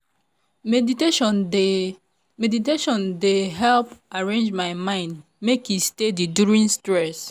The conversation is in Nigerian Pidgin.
meditation dey meditation dey help arrange my mind make e steady during stress.